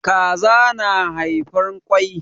Kaza na haifan kwai.